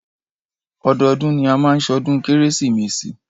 Ọdọọdún ni a máa má ṣọdún kérésìmesì.